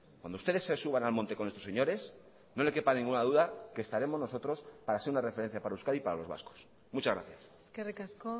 cuando ustedes se suban al monte con estos señores no le quepa ninguna duda que estaremos nosotros para ser una referencia para euskadi y para los vascos muchas gracias eskerrik asko